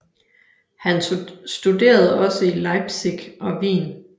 Han studerede også i Leipzig og Wien